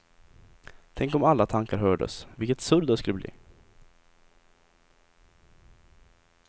Tänk om alla tankar hördes, vilket surr det skulle bli.